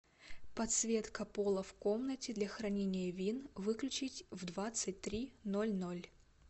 подсветка пола в комнате для хранения вин выключить в двадцать три ноль ноль